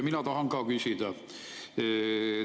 Mina tahan ka küsida.